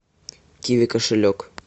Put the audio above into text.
киви кошелек